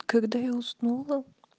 когда я уснула